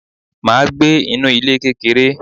Mà á gbé inú ilé kékeré.